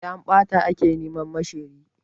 Sai an ɓata ake neman ma shiryi.